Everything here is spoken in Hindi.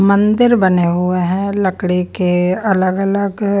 मंदिर बने हुए हैं लकड़ी के अलग-अलग --